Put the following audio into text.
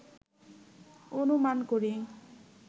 অনুমান করি